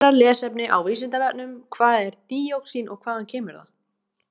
Frekara lesefni á Vísindavefnum: Hvað er díoxín og hvaðan kemur það?